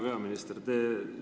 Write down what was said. Hea peaminister!